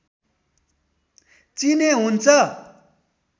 चिने हुन्छ